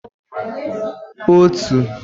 otu